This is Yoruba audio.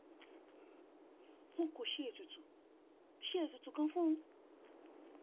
wọn kò ṣe ètùtù ṣe ètùtù kankan fún un